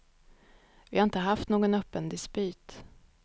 Vi har inte haft någon öppen dispyt.